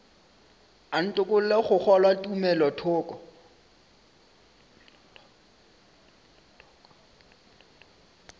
a ntokolle go kgolwa tumelothoko